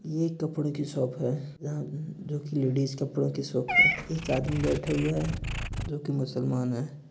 ये कपड़ो की शॉप है यहाँ लेडीज कपड़े की शॉप है| एक आदमी बैठा हुआ है जो कि मुस्लमान है।